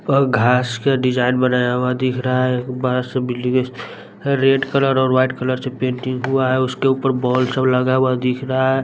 और घास का डिज़ाइन बनाया हुआ दिख रहा है बरा सा बिल्डिंग है रेड कलर और वाइट कलर से पेंटिंग हुआ है उसके ऊपर बॉल सब लगा हुआ दिख रहा है।